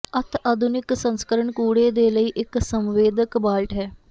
ਅਤਿ ਆਧੁਨਿਕ ਸੰਸਕਰਣ ਕੂੜੇ ਦੇ ਲਈ ਇੱਕ ਸੰਵੇਦਕ ਬਾਲਟ ਹੈ